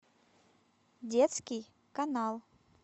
детский канал